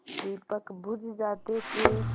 दीपक बुझ जाते थे